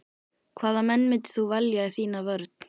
Hvaða menn myndir þú velja í þína vörn?